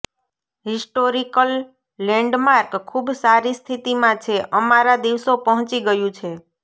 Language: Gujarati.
હિસ્ટોરિક લેન્ડમાર્ક ખૂબ સારી સ્થિતિમાં છે અમારા દિવસો પહોંચી ગયું છે